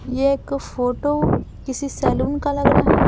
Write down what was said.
ये एक फोटो किसी सैलून का लग रहा है।